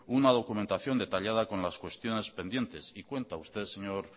una documentación detallada con las cuestiones pendientes y cuenta usted señor